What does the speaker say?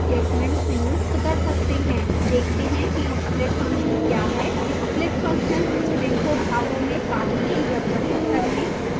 देखते हैं कि split function क्या है